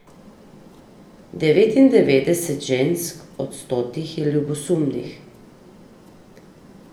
Devetindevetdeset žensk od stotih je ljubosumnih.